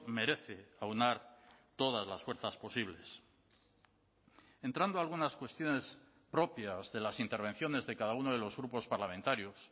merece aunar todas las fuerzas posibles entrando a algunas cuestiones propias de las intervenciones de cada uno de los grupos parlamentarios